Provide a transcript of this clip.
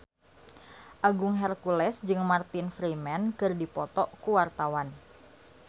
Agung Hercules jeung Martin Freeman keur dipoto ku wartawan